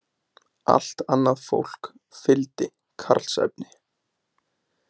Allt annað fólk fylgdi Karlsefni.